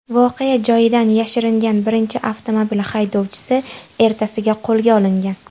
Voqea joyidan yashiringan birinchi avtomobil haydovchisi ertasiga qo‘lga olingan.